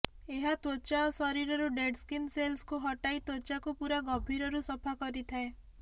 ଏହା ତ୍ୱଚା ଓ ଶରୀରରୁ ଡେଡ ସ୍କିନ୍ ସେଲ୍ସକୁ ହଟାଇ ତ୍ୱଚାକୁ ପୁରା ଗଭୀରରୁ ସଫା କରିଥାଏ